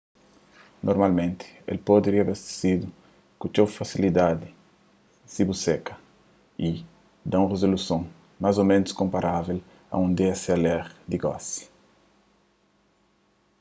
normalmenti el pode riabastesidu ku txeu fasilidadi si bu seka y da un rizoluson más ô ménus konparável a un dslr di gosi